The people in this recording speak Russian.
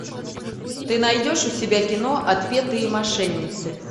ты найдешь у себя кино отпетые мошенницы